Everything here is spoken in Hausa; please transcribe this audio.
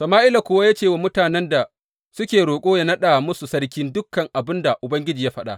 Sama’ila kuwa ya ce wa mutanen da suke roƙo yă naɗa musu sarki dukan abin da Ubangiji ya faɗa.